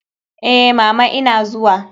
Eh, mama ina zuwa.